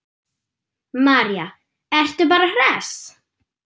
María: Ertu bara hress?